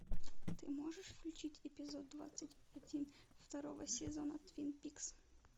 ты можешь включить эпизод двадцать один второго сезона твин пикс